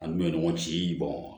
An dun bɛ ɲɔgɔn ci